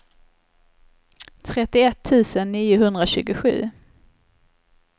trettioett tusen niohundratjugosju